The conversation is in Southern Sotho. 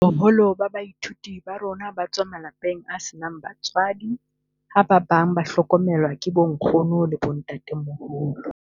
"Boholo ba baithuti ba rona ba tswa malapeng a senang batswadi ha ba bang ba hlokomelwa ke bonkgono le bontatemoholo."